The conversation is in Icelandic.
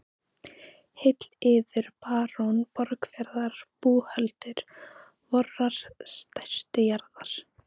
Heill yður barón Borgarfjarðar búhöldur vorrar stærstu jarðar.